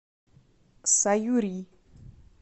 саюри